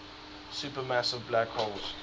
supermassive black holes